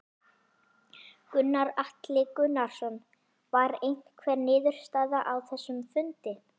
Gunnar Atli Gunnarsson: Var einhver niðurstaða á þessum fundi?